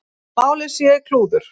Málið sé klúður.